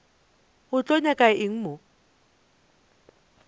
o tlo nyaka eng mo